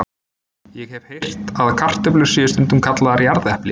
Ég hef heyrt að kartöflur séu stundum kallaðar jarðepli.